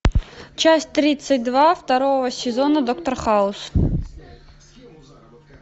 часть тридцать два второго сезона доктор хаус